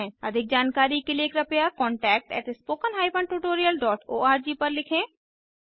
अधिक जानकारी के लिए कृपया contactspoken tutorialorg पर लिखें